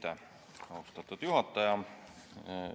Aitäh, austatud juhataja!